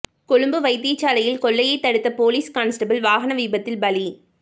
கொழும்பு வைத்தியசாலையில் கொள்ளையை தடுத்த பொலிஸ் கான்ஸ்டபிள் வாகன விபத்தில் பலி